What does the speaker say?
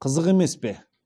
қызық емес пе